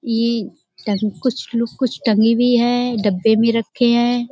इ टंग कुछ लु कुछ टंगी भी है। डब्बे में रखे हैं।